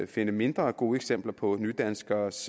finde mindre gode eksempler på nydanskeres